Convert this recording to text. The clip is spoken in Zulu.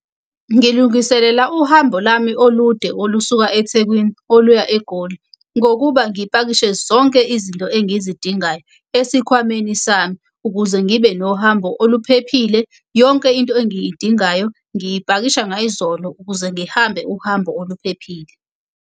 Ngilungiselela uhambo lami olude, olusuka eThekwini oluya eGoli. Ngokuba ngipakishe zonke izinto engizidingayo esikhwameni sami ukuze ngibe nohambo oluphephile. Yonke into engiyidingayo ngiyipakisha ngayizolo ukuze ngihambe uhambo oluphephile.